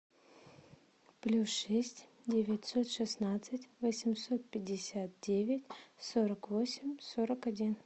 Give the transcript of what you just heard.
плюс шесть девятьсот шестнадцать восемьсот пятьдесят девять сорок восемь сорок один